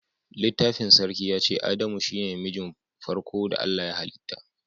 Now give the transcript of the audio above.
Littafin sarki ya ce"Adamu shine na mijin farko da Allah ya halita."